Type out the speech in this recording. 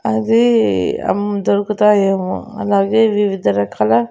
అదీ అం దొరుకుతాయేమో అలాగే వివిధ రకాల--